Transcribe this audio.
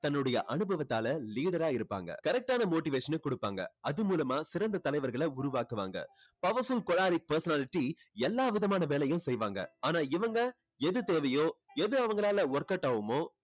தன்னுடைய அனுபவத்தால leader ஆ இருப்பாங்க. correct ஆன motivation ன கொடுப்பாங்க. அது மூலமா சிறந்த தலைவர்களை உருவாக்குவாங்க. powerful choleric personality எல்லா விதமான வேலையும் செய்வாங்க. ஆனா இவங்க எது தேவையோ எது அவங்களால workout ஆகுமோ